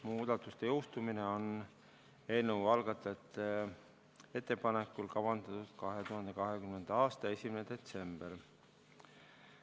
Muudatuste jõustumine on eelnõu algatajate ettepanekul kavandatud 2020. aasta 1. detsembrile.